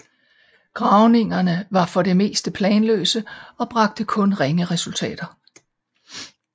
Gravningerne var for det meste planløse og bragte kun ringe resultater